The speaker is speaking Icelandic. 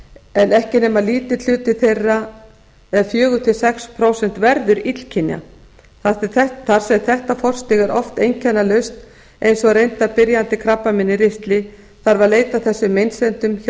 en ekki nema lítill hluti þeirra verður illkynja þar sem þetta forstig er oftast einkennalaust eins og reyndar byrjandi krabbamein í ristli þarf að leita að þessum meinsemdum hjá